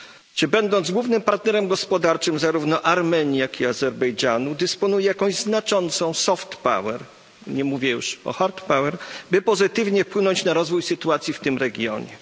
Czy będąc głównym partnerem gospodarczym zarówno Armenii, jak i Azerbejdżanu dysponuje jakąś znaczącą soft power, nie mówię już o hard power, by pozytywnie wpłynąć na rozwój sytuacji w tym regionie?